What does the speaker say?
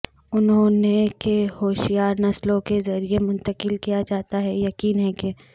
انہوں نے کہ ہوشیار نسلوں کے ذریعے منتقل کیا جاتا ہے یقین ہے کہ